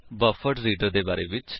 buffered reader ਦੇ ਬਾਰੇ ਵਿੱਚ